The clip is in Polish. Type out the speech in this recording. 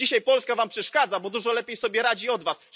Dzisiaj Polska wam przeszkadza, bo dużo lepiej sobie radzi od was.